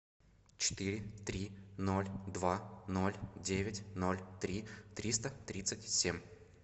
четыре три ноль два ноль девять ноль три триста тридцать семь